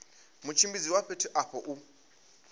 mutshimbidzi wa fhethu afho u